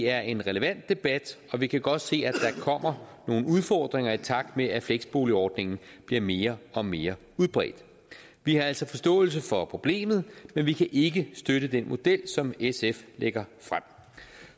er en relevant debat og vi kan godt se at der kommer nogle udfordringer i takt med at fleksboligordningen bliver mere og mere udbredt vi har altså forståelse for problemet men vi kan ikke støtte den model som sf lægger frem